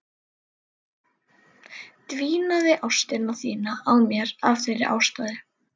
Dvínaði ást þín á mér af þeirri ástæðu?